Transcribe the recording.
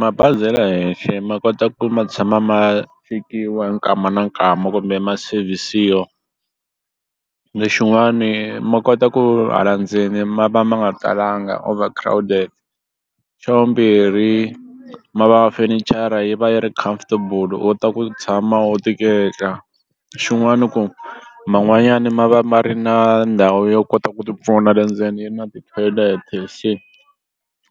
Mabazi ya le henhle ma kota ku ma tshama ma chekiwa hi nkama ni nkama kumbe ma service-wa lexiwani ma kota ku hala ndzeni ma va ma nga talanga overcrowded. Xa vumbirhi ma va fenichara yi va yi ri comfortable u kota ku tshama u tiketla xin'wani ku man'wanyani ma va ma ri na ndhawu yo kota ku tipfuna le ndzeni yi na ti-toilet se